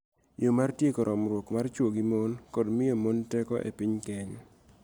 Yo mar tieko romruok mar chwo gi mon kod miyo mon teko e piny Kenya